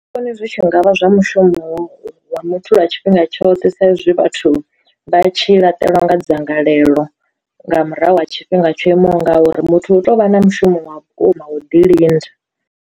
Vhoni zwi tshi ngavha zwa mushumo wa muthu lwa tshifhinga tshoṱhe sa izwi vhathu vha tshi laṱelwa nga dzangalelo nga murahu ha tshifhinga tsho imaho ngauri, muthu hu tou vha na mushumo wa vhukuma wo ḓi linda.